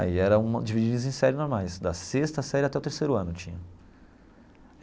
Aí era uma divididos em séries normais, da sexta série até o terceiro ano tinha.